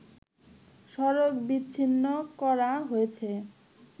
সড়ক বিচ্ছিন্ন করা হয়েছে